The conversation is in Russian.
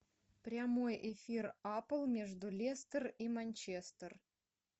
прямой эфир апл между лестер и манчестер